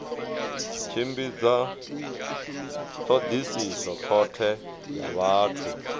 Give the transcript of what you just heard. tshimbidza thodisiso khothe ya vhathu